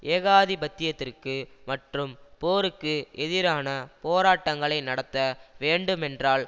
ஏகாதிபத்தியத்திற்கு மற்றும் போருக்கு எதிரான போராட்டங்களை நடத்த வேண்டுமென்றால்